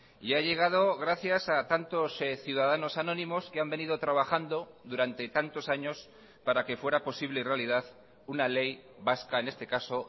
y ha llegado gracias a tantos ciudadanos anónimos que han venido trabajando durante tantos años para que fuera posible realidad una ley vasca en este caso